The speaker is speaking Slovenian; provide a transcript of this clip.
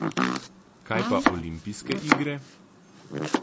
Kaj pa olimpijske igre?